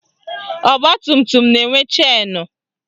Ọgbatumtum na-enwe chenu